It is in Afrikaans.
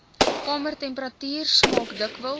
kamertemperatuur smaak dikwels